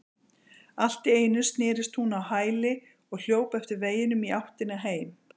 Allt í einu snerist hún á hæli og hljóp eftir veginum í áttina heim.